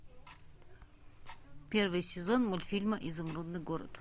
первый сезон мультфильма изумрудный город